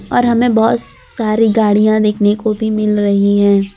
और हमें बहोत सारी गाड़ियां देखने को भी मिल रही हैं।